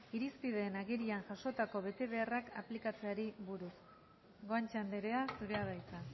irizpideen agirian jasotako betebeharrak aplikatzeari buruz guantxe andrea zurea da hitza